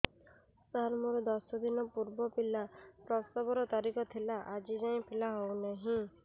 ସାର ମୋର ଦଶ ଦିନ ପୂର୍ବ ପିଲା ପ୍ରସଵ ର ତାରିଖ ଥିଲା ଆଜି ଯାଇଁ ପିଲା ହଉ ନାହିଁ